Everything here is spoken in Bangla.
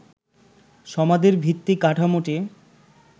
সমাধির ভিত্তি কাঠামোটি